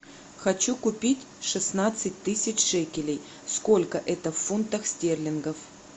хочу купить шестнадцать тысяч шекелей сколько это в фунтах стерлингов